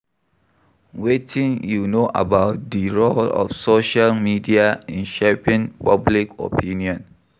Wetin you know about di role of social media in shaping public opinion?